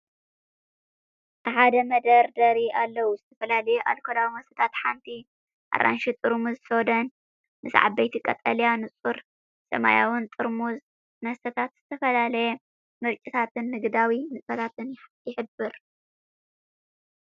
ኣብ ሓደ መደርደሪ ኣለዉ፣ ዝተፈላለዩ ኣልኮላዊ መስተታትን ሓንቲ ኣራንሺ ጥርሙዝ ሶዳን። ምስ ዓበይቲ ቀጠልያን ንጹርን ሰማያውን ጥርሙዝ፡ መስተታት ዝተፈላለየ ምርጫታትን ንግዳዊ ንጥፈታትን ይሕብር።